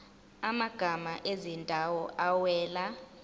amagama ezindawo awela